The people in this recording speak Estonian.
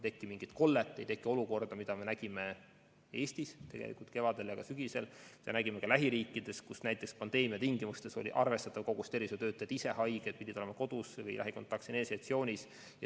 Oluline on, et meil ei teki olukorda, mida me nägime Eestis kevadel ja sügisel ja nägime ka lähiriikides, kus pandeemia ajal oli arvestatav kogus tervishoiutöötajaid ise haiged, pidid olema kodus, ka lähikontaktsena eneseisolatsioonis.